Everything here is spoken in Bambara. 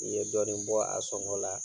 I ye dɔɔni bɔ a sɔngɔ la